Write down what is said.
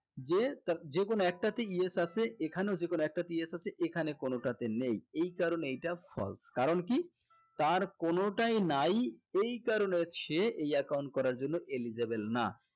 যে যেকোনো একটা তে yes আছে এখানেও যেকোনো একটা তে yes আছে এখানে কোনোটা তে নেই এই কারণে এইটা false কারণ কি তার কোনোটাই নাই এই কারণে সে এই account করার জন্য eligible না